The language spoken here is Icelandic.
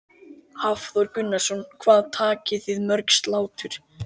Hafþór Gunnarsson: Hvað takið þið mörg slátur?